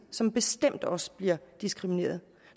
som bestemt også bliver diskrimineret